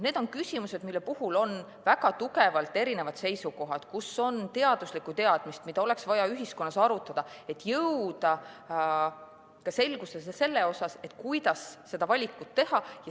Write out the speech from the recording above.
Need on küsimused, mille puhul on väga tugevalt erinevad seisukohad, kus on vaja eaduslikku teadmist, mida oleks vaja ühiskonnas arutada, et jõuda selgusele selles, kuidas seda valikut teha.